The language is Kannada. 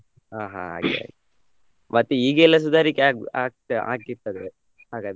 ಹಾ ಹಾ ಹಾಗೆ ಮತ್ ಈಗ ಎಲ್ಲ ಈಗೆಲ್ಲ ಸುದಾರಿಕೆ ಆಗಿ ಆಗ ಆಗಿರ್ತಾರೆ ಹಾಗಾದ್ರೆ.